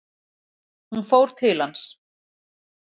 Hún fór til hans.